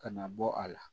Kana bɔ a la